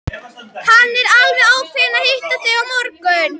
En hann er alveg ákveðinn að hitta þig á morgun.